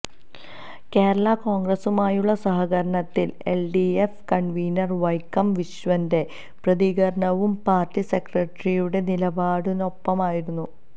കേരളാ കോണ്ഗ്രസ്സുമായുള്ള സഹകരണത്തില് LDF convener Vaikom വിശ്വന്റെ പ്രതികരണവും പാര്ട്ടി സെക്രട്ടറിയുടെ നിലപാടിനൊപ്പമായിരുന്നു